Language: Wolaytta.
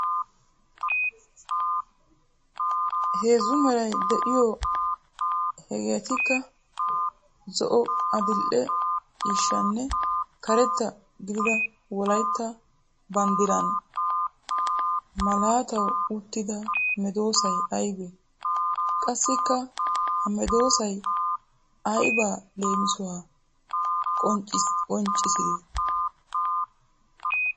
Heezzu meray de'iyo heegetikka zo"o,adil"e ciishshaanne karetta gididda wolaytta banddiran malatawu uttida medosay aybee? Qassikka ha medsoy aybaa leemisuwan qonccidee?